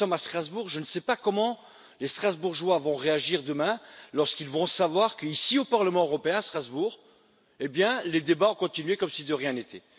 Nous sommes à Strasbourg, je ne sais pas comment les Strasbourgeois vont réagir demain, lorsqu'ils vont savoir qu'ici au Parlement européen à Strasbourg, les débats ont continué comme si de rien n'était.